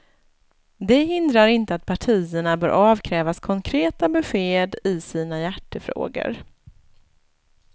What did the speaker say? Det hindrar inte att partierna bör avkrävas konkreta besked i sina hjärtefrågor.